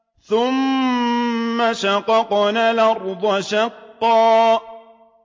ثُمَّ شَقَقْنَا الْأَرْضَ شَقًّا